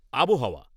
আবহাওয়া